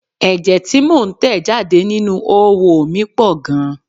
Ẹ̀jẹ tí mo ń tẹ̀ jáde nínú oówo mi pọ̀ gan-an.